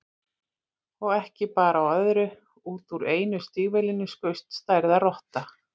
Og ekki bar á öðru, út úr einu stígvélinu skaust stærðar rotta.